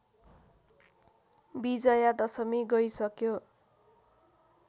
विजया दशमी गइसक्यो